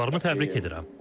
Futbolçularımı təbrik edirəm.